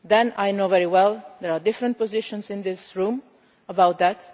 I know very well that there are different positions in this room about